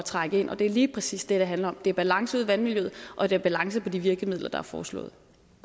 trække ind og det er lige præcis det det handler om det er balance ude i vandmiljøet og det er balance til de virkemidler der er foreslået